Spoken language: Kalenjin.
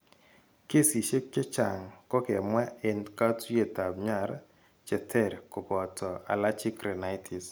Kesiisyek chechang kokemwa en katuiyetab nyar cheteer kobooto allergic rhinitis.